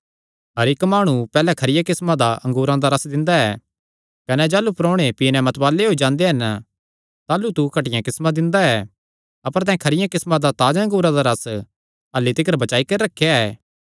हर इक्क माणु पैहल्लैं खरिया किस्मा दा अंगूरा दा रस दिंदा ऐ कने जाह़लू परोणे पी नैं मतवाल़े होई जांदे हन ताह़लू तू घटिया किस्मा दिंदा ऐ अपर तैं खरिया किस्मा दा ताजा अंगूरा दा रस अह्ल्ली तिकर बचाई करी रखेया ऐ